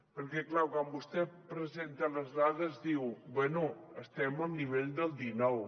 perquè clar quan vostè presenta les dades diu bé estem al nivell del dinou